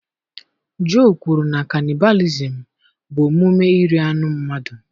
Joe kwuru na kanịbalịzim bụ omume iri anụ mmadụ.